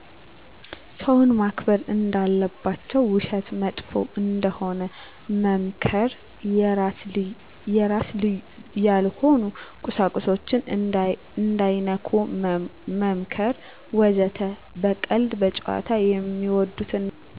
ሰውን ማክበር እንዳለባቸው ውሸት መጥፎ እንደሆነ መምከር የራስ ያልሆኑ ቁሳቁሶችን እንዳይነኩ መምከር ወዘተ። በቀልድ፣ በጨዋታ፣ ሚወዱትን ነገር በማድርግ